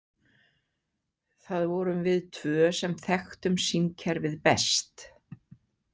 Það vorum við tvö sem þekktum símkerfið best.